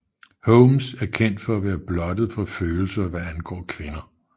Holmes er kendt for at være blottet for følelser hvad angår kvinder